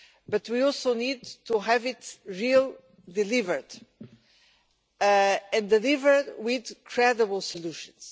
But we also need to have it really delivered, and delivered with credible solutions.